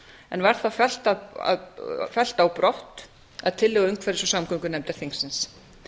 en var þá fellt á brott að tillögu umhverfis og samgöngunefndar þingsins